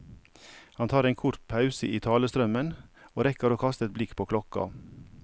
Han tar en kort pause i talestrømmen, og rekker å kaste et blikk på klokka.